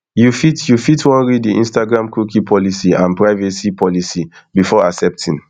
you fit you fit wan read di instagramcookie policyandprivacy policybefore accepting